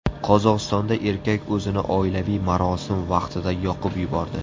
Qozog‘istonda erkak o‘zini oilaviy marosim vaqtida yoqib yubordi.